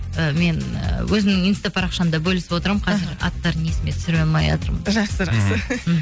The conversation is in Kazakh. і мен ы өзімнің инста парақшамда бөлісіп отырамын қазір аттарын есіме түсіре алмайатырмын жақсы жақсы